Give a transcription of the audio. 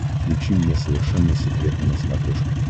включи мне совершенно секретно на смотрешке